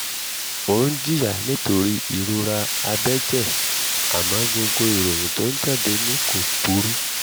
ó ń jìyà nítorí ìrora abẹ́jẹ̀ àmọ́ gbogbo ìròyìn tó ń jáde ni kò burú